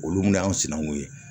Olu min y'an sinankunw ye